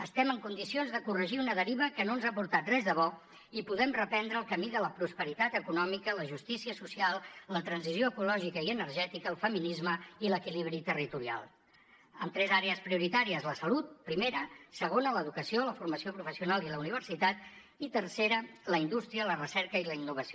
estem en condicions de corregir una deriva que no ens ha portat res de bo i puguem reprendre el camí de la prosperitat econòmica la justícia social la transició ecològica i energètica el feminisme i l’equilibri territorial amb tres àrees prioritàries la salut primera segona l’educació la formació professional i la universitat i tercera la indústria la recerca i la innovació